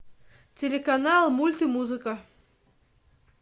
телеканал мульт и музыка